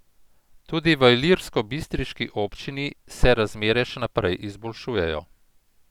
Tudi v ilirskobistriški občini se razmere še naprej izboljšujejo.